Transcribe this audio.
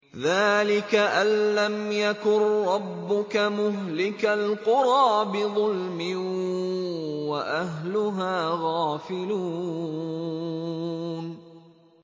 ذَٰلِكَ أَن لَّمْ يَكُن رَّبُّكَ مُهْلِكَ الْقُرَىٰ بِظُلْمٍ وَأَهْلُهَا غَافِلُونَ